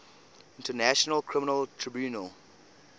international criminal tribunal